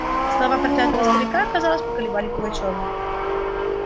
слова проклятого старика казалось поколебали пугачёва